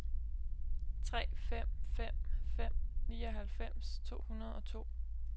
tre fem fem fem nioghalvfems to hundrede og to